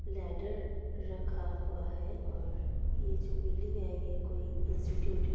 Ladder रखा हुआ है और यह जो बिल्डिंग है यह कोई इंस्टिट्यूट है।